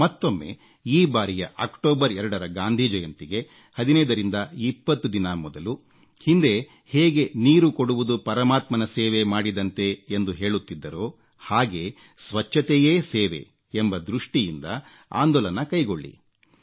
ಮತ್ತೊಮ್ಮೆ ಈ ಬಾರಿಯ ಅಕ್ಟೋಬರ್ 2ರ ಗಾಂಧಿ ಜಯಂತಿಗೆ 1520 ದಿನ ಮೊದಲು ಹಿಂದೆ ಹೇಗೆ ನೀರು ಕೊಡುವುದು ಪರಮಾತ್ಮನ ಸೇವೆ ಮಾಡಿದಂತೆ ಎಂದು ಹೇಳುತ್ತಿದ್ದರೋ ಹಾಗೆ ಸ್ವಚ್ಛತೆಯೇ ಸೇವೆ ಎಂಬ ದೃಷ್ಟಿಯಿಂದ ಆಂದೋಲನ ಕೈಗೊಳ್ಳಿ